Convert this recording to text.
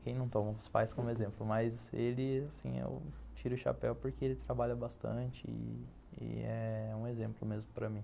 Quem não toma os pais como exemplo, mas ele, assim, eu tiro o chapéu porque ele trabalha bastante e é um exemplo mesmo para mim.